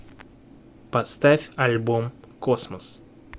поставь альбом космос